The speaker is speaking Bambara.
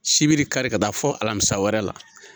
Sibiri kari ka taa fo alamisa wɛrɛ la.